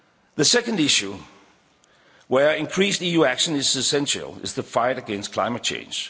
The second issue where increased EU action is essential is the fight against climate